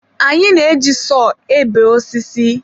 Anyị na-eji sọọ ebe osisi.